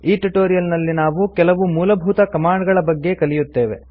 ಈ ಟ್ಯುಟೋರಿಯಲ್ ನಲ್ಲಿ ನಾವು ಕೆಲವು ಮೂಲಭೂತ ಕಮಾಂಡ್ ಗಳ ಬಗ್ಗೆ ಕಲಿಯುತ್ತೇವೆ